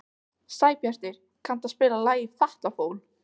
Sæbjartur, kanntu að spila lagið „Fatlafól“?